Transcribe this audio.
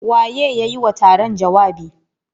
Waye ya yi wa taron jawabi?